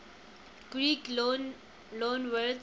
greek loanwords